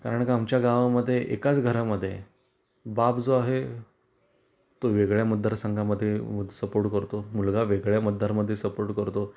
कारण का आमच्या गावा मध्ये एकाच घरा मध्ये बाप जो आहे तो वेगळा मतदार संघामध्ये सपोर्ट करतो, मुलगा वेगळ्या मतदार मध्ये सपोर्ट करतो.